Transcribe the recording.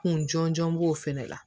Kun jɔnjɔn b'o fana la